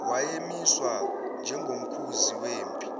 wayemiswa njengomkhuzi wempi